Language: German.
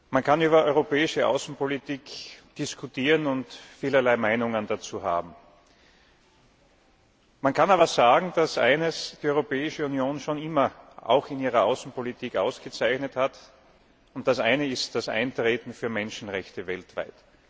Man kann über europäische Außenpolitik diskutieren und vielerlei Meinungen dazu haben. Man kann aber sagen, dass eines die Europäische Union schon immer auch in ihrer Außenpolitik ausgezeichnet hat, und das ist das Eintreten für Menschenrechte weltweit.